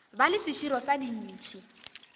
ba le seširo sa dintšhi